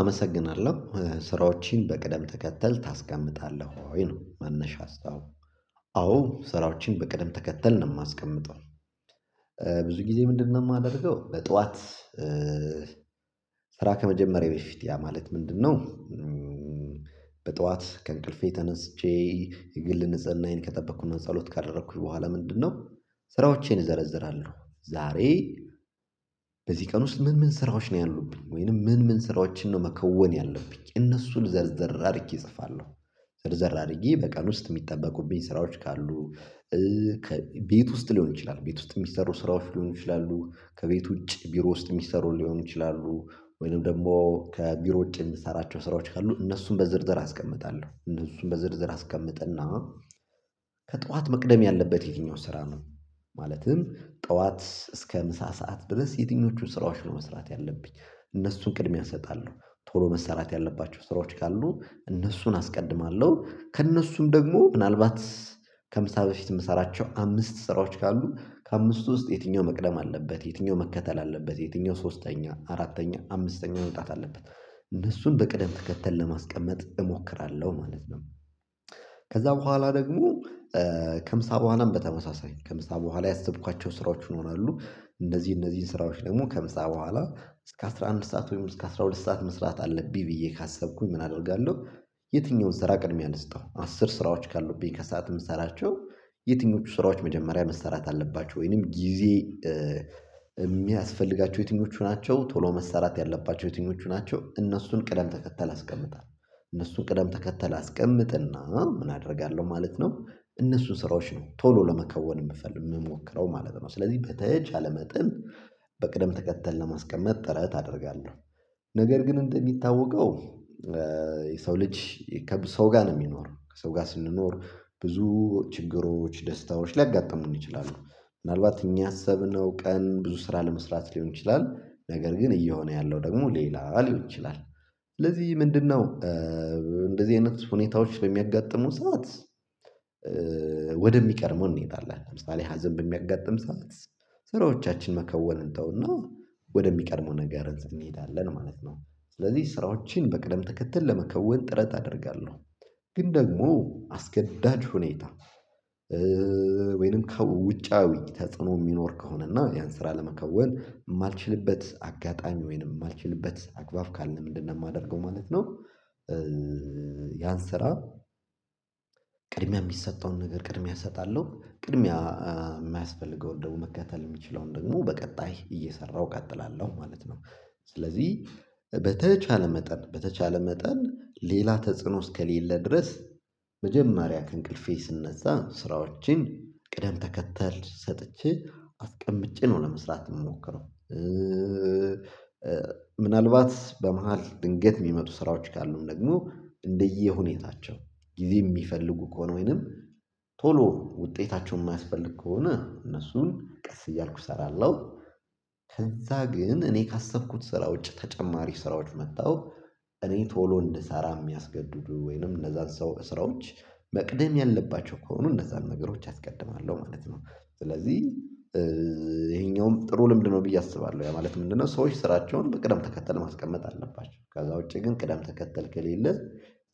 አመሰግናለው ስራዎችህን በቅደም ተከተል ታስቀምጣለህ ወይ? ነው መነሻ ሀሳቡ አዎ ስራዎችን በቅደም ተከተል ነው የማስቀምጠው። ብዙ ጊዜ ምንድነው ማደርገው በጧት ስራ ከመጀመሬ በፊት ያ ማለት ምንድነው? በጡዋት ከእንቅልፌ ተነስቼ የግል ንጽህናዬን ከጠበቅኩና ጸሎት ካደረኩኝ በኋላ ምንድነው? ስራዎቼን አዘረዝራለው ዛሬ በዚህ ቀን ውስጥ ምን ምን ስራዎች ነው ያሉብኝ? ወይንም ምን ምን ስራዎችን ነው መከወን ያለብኝ እነሱን ዘርዘር አሪጌ እጽፋለው። ዘርዘር አሪጌ በቀን ውስጥ የሚጠበቁብኝ ስራዎች ካሉ ቤት ውስጥ ሊሆን ይችላል። ቤት ዉስጥ የሚሰሩ ስራዎች ሊሆኑ ይችላሉ ከቤት ውጪ ቢሮ ውስጥ የሚሰሩ ሊሆኑ ይችላሉ ወይም ደግሞ ከቢሮ ውጪ የምሰራቸው ስራዎች ካሉ እነሱን በዝርዝር አስቀምጣለው እነሱን በዝርዝር አስቀምጥና ከጡዋት መቅደም ያለበት ዬትኛው ስራ ነው? ማለትም ጡዋት እስከ ምሳ ሰዓት ድረስ የትኞቹን ስራዎች ነው መስራት ያለብኝ? እነሱን ቅድሚያ እሰጣለው ቶሎ መሰራት ያለባቸው ስራዎች ካሉ እነሱን አስቀድማለው ከእነሱም ደግሞ ምናልባት ከምሳ በፊት የምሰራቸው አምስት ስራዎች ካሉ ከአምስቱ ውስጥ ዬትኛው መቅደም አለበት? ዬትኛው መከተል አለበት? የትኛው ሶስተኛ አራተኛ አምስተኛ መምጣት አለበት? እነሱን በቅደም ተከተል ለማስቀመጥ እሞክራለው ማለት ነው። ከዛ በኋላ ደግሞ ከምሳ በኋላም በተመሳሳይ ከምሳ በኋላ ያሰብኳቸው ስራዎች ይኖራሉ። እንደዚህ እነዚህ ስራዎች ደግሞ ከምሳ በኋላ እስከ አስራ አንድ ሰዓት ወይም እስከ አስራ ሁለት ሰዓት መስራት አለብኝ ብዬ ካሰብኩኝ ምን አደርጋለው? ዬትኛውን ስራ ቅድሚያ ልስጠው? አስር ስራዎች ካሉብኝ ከሰአት የምሰራቸው ዬትኞቹ ስራዎች መጀመሪያ መሰራት አለባቸው? ወይንም ጊዜ የሚያስፈልጋቸው ዬትኞቹ ናቸው? ቶሎ መሰራት ያለባቸው ዬትኞቹ ናቸው? እነሱን ቅደም ተከተል አስቀምጣለው። እነሱን ቅደም ተከተል አስቀምጥና ምን አደርጋለው ማለት ነው እነሱን ስራዎች ነው ቶሎ ለመከወን የምፈልግ የምሞክረው ማለት ነው። ስለዚህ በተቻለ መጠን በቅደም ተከተል ለማስቀመጥ ጥረት አደርጋለው። ነገር ግን እንደሚታወቀው የሰው ልጅ ከሰው ጋር ነው የሚኖረው። ከሰው ጋር ስንኖር ብዙ ችግሮች ደስታዎች ሊያጋጥሙን ይችላሉ። ምናልባት እኛ ያሰብነው ቀን ብዙ ስራ ለመስራት ሊሆን ይችላል ነገር ግን እየሆነ ያለው ደግሞ ሌላ ሊሆን ይችላል። ስለዚህ ምንድነው እንደዚህ አይነት ሁኔታዎች በሚያጋጥሙት ሰዓት ወደ ሚቀድመው እንሄዳለን ለምሳሌ ሀዘን በሚያጋጥም ሰዓት ስራዎቻችን መከወን እንተውና ወደ ሚቀድመው ነገር እንሄዳለን ማለት ነው። ስለዚህ ስራዎችን በቅደም ትከተል ለመከወን ጥረት አደርጋለው። ግን ደግሞ አስገዳጅ ሁኔታ ወይንም ከውጫዊ ተጽዕኖ የሚኖር ከሆነና ያን ስራ ለመከወን የማልችልበት አጋጣሚ ወይንም የማልችልበት አግባብ ካልን ምንድነው የማደርገው ማለት ነው ያን ስራ ቅድሚያ የሚሰጠውን ነገር ቅድሚያ እሰጣለው ቅድሚያ የማያስፈልገውን ደግሞ መከተል የሚችለውን ደግሞ በቀጣይ እየሰራው እቀጥላለው ማለት ነው። ስለዚህ በተቻለ መጠን በተቻለ መጠን ሌላ ተጽዕኖ እስከሌለ ድረስ መጀመሪያ ከእንቅልፌ ስነሳ ስራዎችን ቅደም ተከተል ሰጥቼ አስቀምጬ ነው ለመስራት የሚሞክረው። ምናልባት በመሃል ድንገት የሚመጡ ስራዎች ካሉም ደግሞ እንደየሁኔታቸው ጊዜ የሚፈልጉ ከሆነ ወይንም ቶሎ ውጤታቸውን የማያስፈልግ ከሆነ እነሱን ቀስ እያልኩ እሰራለው። ከዛ ግን እኔ ካሰብኩት ስራ ውጭ ተጨማሪ ስራዎች መተው እኔ ቶሎ እንድሰራ የሚያስገድዱ ወይንም እነዛን ሰው በስራዎች መቅደም ያለባቸው ከሆኑ እነዛ ነገሮች አስቀድማለሁ ማለት ነው ስለዚህ ይሄኛውም ጥሩ ልምድ ነው ብዬ አስባለው ያ ማለት ምንድነው ሰዎች ስራቸውን በቅደም ተከተል ማስቀመጥ አለባቸው ከዛ ውጪ ግን ቅደም ተከተል ከሌለ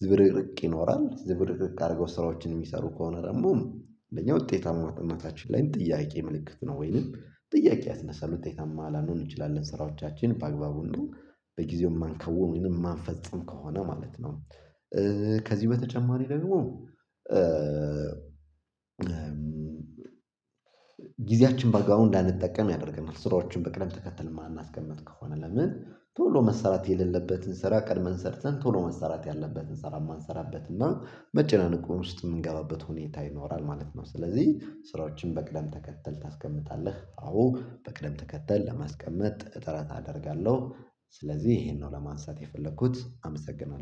ዝብርርቅ ይኖራል ዝብርርቅ አርጎ ስራዎችን የሚሰሩ ከሆነ ደግሞ እንደኛ ውጤታማ እምነታችን ላይም ጥያቄ ምልክት ነው ወይንም ጥያቄ ያስነሳል ዉጤታማ ላንሆን እንችላለን። ስራዎቻችን በአግባቡ እንደው በጊዜው የማንከውን ወይንም የማንፈጽም ከሆነ ማለት ነው። ከዚህ በተጨማሪ ደግሞ ጊዜያችን በአግባቡ እንዳንጠቀም ያደርገናል። ስራዎችን በቅደም ተከትል የማናስቀምጥ ከሆነ ለምን ቶሎ መሰራት የሌለበትን ስራ ቀድመን ሰርተን ቶሎ መሰራት ያለበትን ስራ የማንሰራበት እና መጨናነቅ በውስጥ የምንገባበት ሁኔታ ይኖራል ማለት ነው። ስለዚህ ስራዎችን በቅደም ተከተል ታስቀምጣለህ? አዎ በቅደም ተከተል ለማስቀመጥ ጥረት አደርጋለው። ስለዚህ ይሄንን ነው ለማንሳት የፈለኩት አመሰግናለው።